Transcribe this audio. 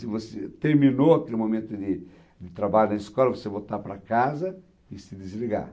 Se você terminou aquele momento de de trabalho na escola, você voltar para casa e se desligar.